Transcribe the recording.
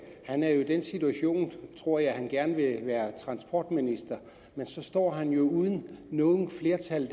er jo i den situation tror jeg at han gerne vil være transportminister men så står han jo uden noget flertal